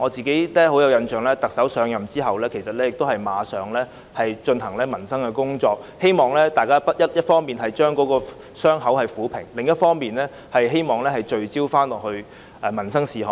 令我印象深刻的是特首一上任便立即處理民生工作，一方面希望撫平傷口，另一方面也希望大家能夠聚焦民生事務。